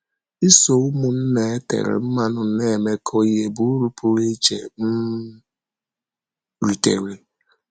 Isọ ụmụnna e tèrè mmanụ na-emekọ ihe bụ ùrụ pụrụ iche m rìtèrè.